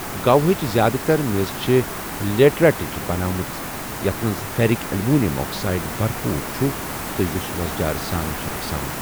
گوہٕچ زِیٛادٕ تَر میٚژ چھےٚ لیٹرایِٹٕچ بنٲومٕژ یَتھ منٛز فیرک ایلومینیم آکسائیڈ بَرپوٗر چھُ تہٕ یُس وۄزجار سان چھُ آسان